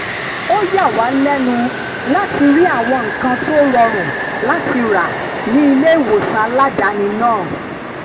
ó yà wá lẹ́nu láti rí àwọn nǹkan tó rọrùn láti rà ní ilé-ìwòsàn aládàáni náà